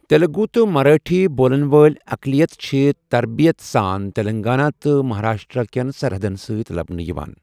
تلگو تہٕ مراٹھی بولن وٲلۍ اقلیتہٕ چھِ ترتیٖب ساں تلنگانہ تہٕ مہاراشٹر کٮ۪ن سَرحَدن سۭتۍ لبنہٕ یِوان۔